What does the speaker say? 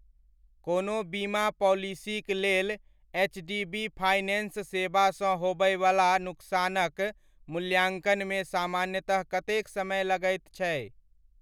कोनो बीमा पॉलिसीक लेल एचडीबी फाइनेन्स सेवा सँ होबयबला नुकसानक मूल्याङ्कनमे सामान्यतः कतेक समय लगैत छै?